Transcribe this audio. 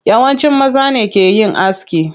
Yawanci maza ne ke yin aski.